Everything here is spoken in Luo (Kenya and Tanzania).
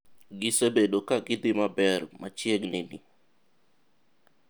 Gisebedo ka gi dhi maber machiegni ni.